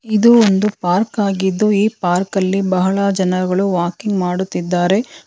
ಇದು ಒಂದು ಪಾರ್ಕ್ ಆಗಿದ್ದು ಈ ಪಾರ್ಕಲ್ಲಿ ಬಹಳ ಜನಗಳು ವಾಕಿಂಗ್ ಮಾಡುತ್ತಿದ್ದಾರೆ.